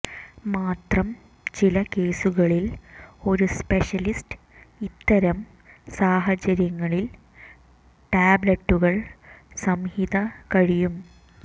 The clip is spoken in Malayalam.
മാത്രം ചില കേസുകളിൽ ഒരു സ്പെഷ്യലിസ്റ്റ് ഇത്തരം സാഹചര്യങ്ങളിൽ ടാബ്ലറ്റുകൾ സംഹിത കഴിയും